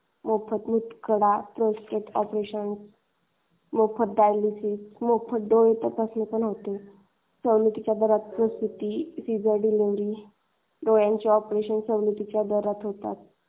मोफत मुतखडा व्यवस्थित ऑपरेशन, मोफत डायलिसिस, मोफत डोळे तपासणी पण होते. सवलतीच्या दरात, प्रस्तुती, सीजर डिलिवरी, डोळ्याचे ऑपरेशन सवलतीच्या दरात होतात.